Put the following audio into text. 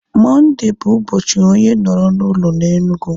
Mọnde bụ ụbọchị onye nọrọ na ụlọ na Enugu